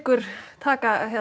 taka